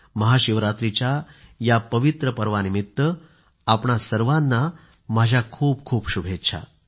महाशिवरात्रीच्याया पवित्र पर्वानिमित्त आपणा सर्वांना माझ्या खूप खूप शुभेच्छा